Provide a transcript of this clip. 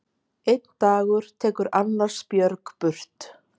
Einn dagur tekur annars björg burt.